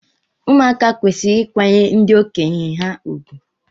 Ụmụaka kwesịrị ịkwanyere ndị okenye ha ùgwù.